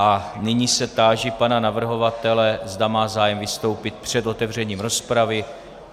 A nyní se táži pana navrhovatele, zda má zájem vystoupit před otevřením rozpravy.